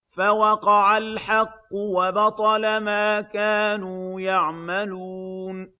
فَوَقَعَ الْحَقُّ وَبَطَلَ مَا كَانُوا يَعْمَلُونَ